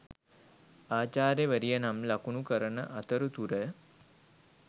ආචාර්යවරිය නම් ලකුණු කරන අතරතුර